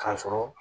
K'a sɔrɔ